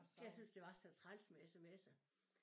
Jeg syntes det var så træls med smser